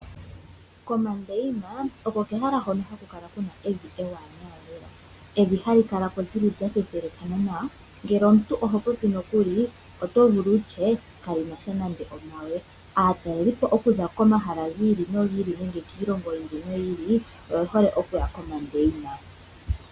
Komandeina oko kehala hono haku kala ku na evi ewanawa lela. Evi hali kala ko lya thethelekana nawa, ngele omuntu oho popilile oto ti kali na sha nande omawe. Aatalelipo okuza komahala gi ili nogi ili nenge kiilongo yi ili noyi ili oye hole okuya komandeina.